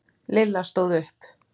Lilla stóð upp.